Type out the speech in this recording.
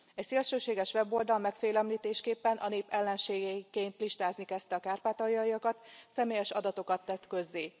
Egy szélsőséges weboldal megfélemlítésképpen a nép ellenségeiként listázni kezdte a kárpátaljaiakat, személyes adatokat tett közzé.